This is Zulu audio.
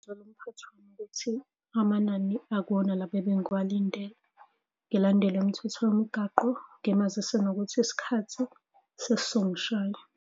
Amanani akuwona laba ebengiwalindele, ngilandele imithetho yomgwaqo, ngimazise nokuthi isikhathi sesizongishaya.